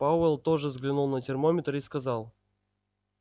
пауэлл тоже взглянул на термометр и сказал